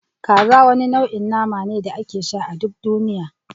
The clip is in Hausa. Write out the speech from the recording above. Kaza wani nau'in nama ne da ake sha a duk duniya